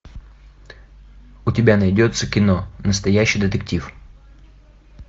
у тебя найдется кино настоящий детектив